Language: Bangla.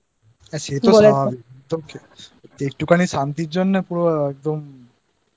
হ্যাঁ সে তো স্বাভাবিক। একটুখানি শান্তির জন্য